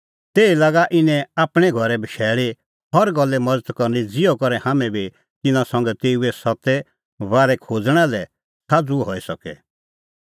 तैही लागा इने आपणैं घरै बशैल़ी हर गल्ले मज़त करनी ज़िहअ करै हाम्हैं बी तिन्नां संघै तेऊ सत्ते बारै खोज़णा लै साझ़ू हई सके